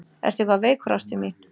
Ertu eitthvað veikur ástin mín?